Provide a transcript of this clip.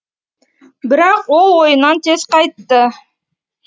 бірақ ол ойынан тез қайтты